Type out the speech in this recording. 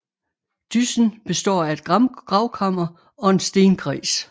Dyssen består af et gravkammer og en stenkreds